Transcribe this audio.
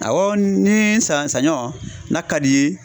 Awɔ ni san sanɲɔn n'a ka di i ye